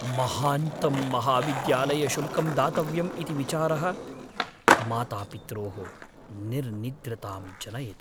महान्तं महाविद्यालयशुल्कं दातव्यम् इति विचारः मातापित्रोः निर्निद्रतां जनयति।